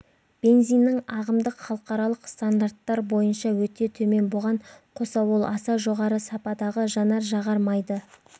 бензиннің ағымдық халықаралық стандарттар бойынша өте төмен бұған қоса ол аса жоғары сападағы жанар жағар майды